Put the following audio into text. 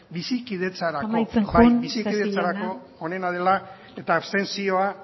bizikidetzarako onena dela amaitzen joan isasi jauna bai eta abstentzioa